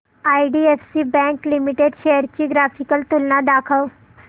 IDFC bank limited shares ची graphical तुलना दाखव